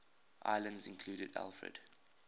islands included alfred